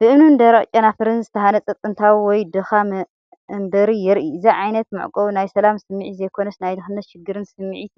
ብእምንን ደረቕ ጨናፍርን ዝተሃንጸ ጥንታዊ ወይ ድኻ መንበሪ የርኢ። እዚ ዓይነት መዕቆቢ ናይ ሰላም ስምዒት ዘይኮነስ ናይ ድኽነትን ሽግርን ስምዒት